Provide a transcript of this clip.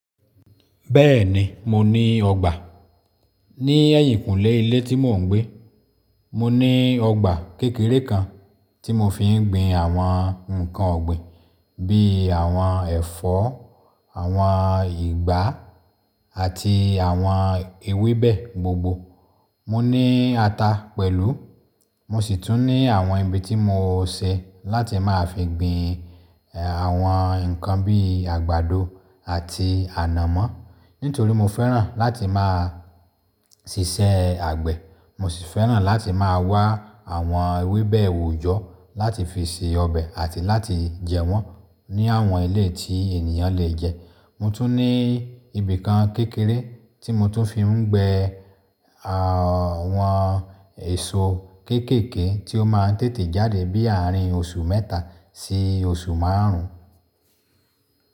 Bẹ́ẹ̀ni, mo ní ọgbà. Ni ẹ̀yìnkúnlé ilé tí mò ń gbé, mo ní ọgbà kékeré kan tí mo fi ń gbin àwọn ǹkan ọ̀gbìn bí i àwọn ẹ̀fọ́, àwọn ìgbá àti àwọn ewébẹ̀ gbogbo. Mo ní ata pẹ̀lú. Mo sì tún ní àwọn ibi tí mo ṣẹ̀ láti máa fi gbin, àwọn ǹkan bí i àgbàdo àti ànàmọ́. Nítorí mo fẹ́ràn láti máa ṣiṣẹ́ àgbẹ̀. Mo sì fẹ́ràn láti máa wá àwọn ewébẹ̀ òòjọ́ láti fi se ọbẹ̀ àti láti jẹ wọ́n ní àwọn ilé tí ènìyàn lè jẹ. Mo tún ní ibi kan kékeré tí mo tún fi ń gbẹ àwọn èso kéékèèké tí ó máa ń tètè jáde bí ààrin oṣù mẹ́ta sí oṣù márùn ún.